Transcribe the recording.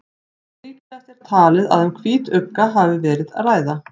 Líklegast er talið að um hvítugga hafi verið að ræða.